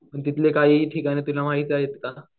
तुला तिथले काही ठिकाणांची नावे माहित आहेत का?